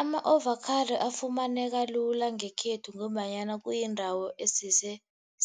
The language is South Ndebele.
Ama-avocado afumaneka lula ngekhethu ngombanyana kuyindawo esese